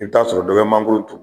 I bi t'a sɔrɔ dɔ bɛ mangoro turu